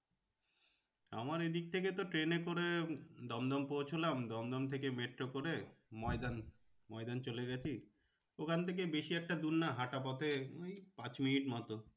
আমার এদিক থেকে তো ট্রেনে করে দমদম পৌঁছালাম। দমদম থেকে মেট্রো করে ময়দান, ময়দান চলে গেছি। ওখান থেকে বেশি একটা দূর না হাঁটা পথে ওই পাঁচ minutes মতো